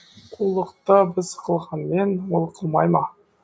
қулықты біз қылғанмен ол қылмай ма